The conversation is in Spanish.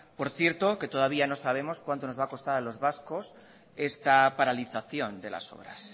por cierto que todavía no sabemos cuánto nos va a costar a los vascos esta paralización de las obras